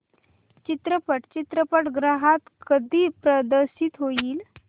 चित्रपट चित्रपटगृहात कधी प्रदर्शित होईल